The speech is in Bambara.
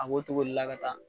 A b o cogo de la ka taa.